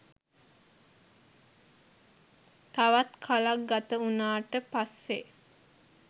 තවත් කලක් ගත උනාට පස්සේ.